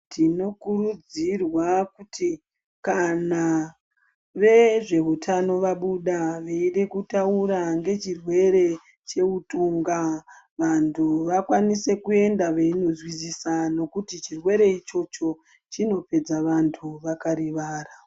Tinokurudzirwa kuti kana vezveutano vabuda veida kutaura ngechirwere cheutunga. Vantu vakwanise kuenda veindozwisisisa ngekuti chirwere ichocho chinopedza antu vakarivara.